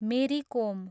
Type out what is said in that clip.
मेरी कोम